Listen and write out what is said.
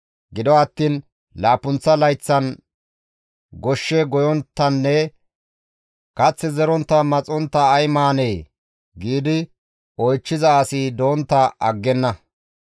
« ‹Gido attiin laappunththa layththan goshshe goyonttanne kath zerontta maxontta ay maanee?› giidi oychchiza asi dontta aggenna.